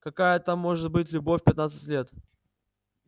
какая там может быть любовь в пятнадцать лет